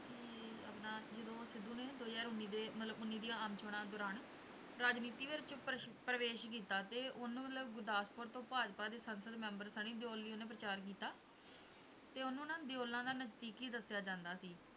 ਵੀ ਆਪਣਾ ਜਦੋਂ ਸਿੱਧੂ ਨੇ ਦੋ ਹਜ਼ਾਰ ਉੱਨੀ ਦੇ ਮਤਲਬ ਉੱਨੀ ਦੀਆਂ ਆਮ ਚੌਣਾਂ ਦੌਰਾਨ ਰਾਜਨੀਤਿ ਵਿੱਚ ਪਰ~ ਪਰਵੇਸ ਕੀਤਾ ਤੇ ਉਹਨੇ ਮਤਲਬ ਗੁਰਦਾਸਪੁਰ ਤੋਂ ਭਾਜਪਾ ਦੇ ਸੰਸਦ ਮੈਂਬਰ ਸਨੀ ਦਿਓਲ ਲਈ ਉਹਨੇ ਪ੍ਰਚਾਰ ਕੀਤਾ, ਤੇ ਉਹਨੂੰ ਨਾ ਦਿਓਲਾਂ ਦਾ ਨਜ਼ਦੀਕੀ ਦੱਸਿਆ ਜਾਂਦਾ ਸੀ।